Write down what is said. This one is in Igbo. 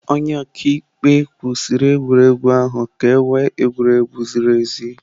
Onye ọka ikpe kwụsịrị egwuregwu ahụ ka ewe egwuregwu ziri ezi.